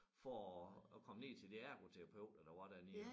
For at at komme ned til de ergoterapeuter der var dernede